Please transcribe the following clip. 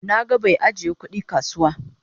Na gan bai ajiya kudi a kasuwa.